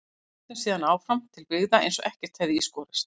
Við héldum síðan áfram til byggða eins og ekkert hefði í skorist.